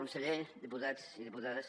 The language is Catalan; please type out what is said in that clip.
conseller diputats i diputades